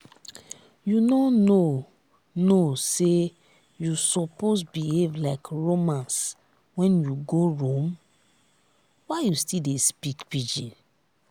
you no know know say you suppose behave like romans when you go rome? why you still dey speak pidgin?